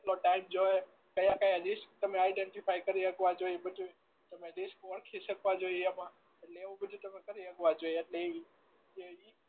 કેટલો ટાઇમ જોઈએ ક્યાં ક્યાં લીસ્ટ તમે આઇડેન્ટિફાઈ કરી હકવા જોઈએ બધુય તમે રિસ્ક ઓળખી શકવા જોઈએ એમાં એટલે એવું બધું તમે કરી શકવા જોઈએ